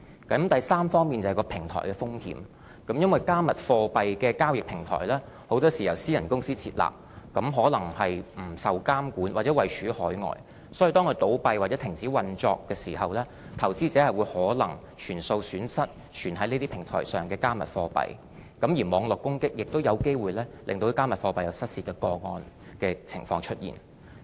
第三，是平台的風險，因為"加密貨幣"的交易平台，很多時是由私人公司設立，可能不受監管，或位處海外，所以當它倒閉或停止運作時，投資者可能會全數損失存放於這些平台上的"加密貨幣"，而網絡攻擊也有機會令"加密貨幣"出現失竊的情況。